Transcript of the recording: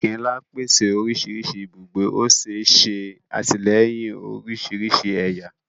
Òkè-ńlá pèsè oríṣiríṣi ibùgbé, ó sì ń ṣe àtìlẹ́yìn oríṣiríṣi ẹ̀yà